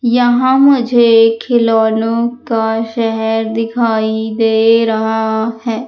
यहां मुझे खिलौनो का शहर दिखाई दे रहा है।